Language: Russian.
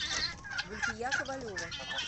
гульфия ковалева